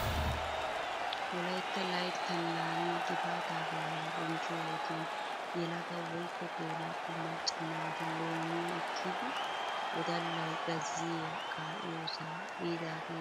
Wolaytta layttan laamiyaa Gifatta baalla bonchchoyoo wodiyan yelagga woykko gela'o maaca naati loomiyaa ekiddi wodallay gazziyaa kaa'iyossa biidaageeti ha sohuwaan beettoosona.